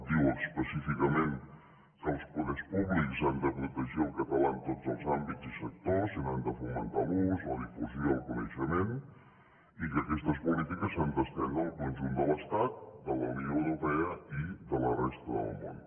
diu específicament que els poders públics han de protegir el català en tots els àmbits i sectors i n’han de fomentar l’ús la difusió i el coneixement i que aquestes polítiques s’han d’estendre al conjunt de l’estat de la unió europea i de la resta del món